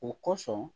O kosɔn